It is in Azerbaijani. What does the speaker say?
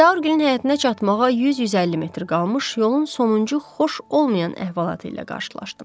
Zaurgilin həyətinə çatmağa 100-150 metr qalmış yolun sonuncu xoş olmayan əhvalatı ilə qarşılaşdım.